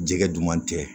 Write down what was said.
Jɛgɛ duman tɛ